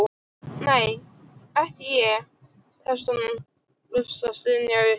nei, ekki ég, tekst honum loks að stynja upp.